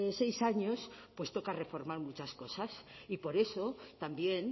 seis años pues toca reformar muchas cosas y por eso también